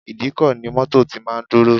Ìdíkọ̀ ni mọ́tọ̀ tí máa ń dúró.